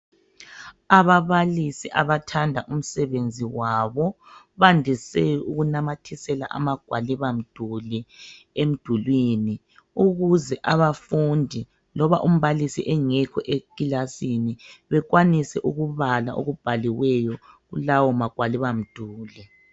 Ababalisi abathanda umsebenzi wabo bandise ukunamathisela amagwaliba mduli emdulini ukuze abafundi loba umbalisi engekho ekilasini bekwanise ukubala okubhaliweyo lawo magwaliba mduli.